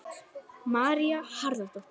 María Harðardóttir.